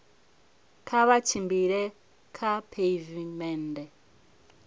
kha vha tshimbile kha pheivimennde